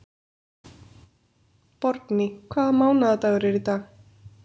Borgný, hvaða mánaðardagur er í dag?